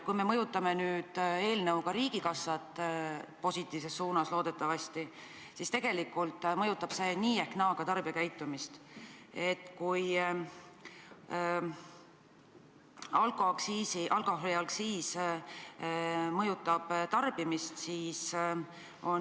Kui me mõjutame nüüd eelnõu kohaselt riigikassat – positiivses suunas, loodetavasti –, siis tegelikult mõjutab see nii või naa ka tarbijakäitumist.